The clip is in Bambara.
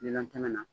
Lilɔn tɛmɛ na